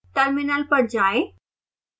terminal पर जाएं